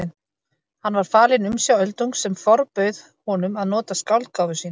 Hann var falinn umsjá Öldungs sem forbauð honum að nota skáldgáfu sína.